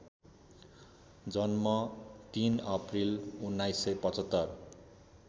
जन्म ३ अप्रिल १९७५